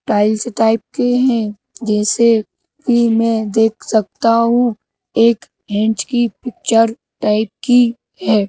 Tiles type के हैं जैसे कि मैं देख सकता हूँ एक हैंड्स की पिक्चर टाइप की है।